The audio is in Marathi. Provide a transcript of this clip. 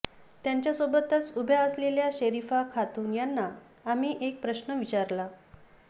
त्यांच्यासोबतच उभ्या असलेल्या शरीफा खातून यांना आम्ही एक प्रश्न विचारला